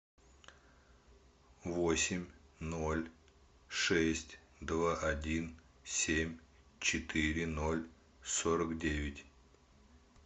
восемь ноль шесть два один семь четыре ноль сорок девять